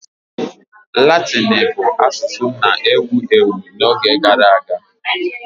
Latịni bụ asusụ na-ewu ewu n'oge gara aga.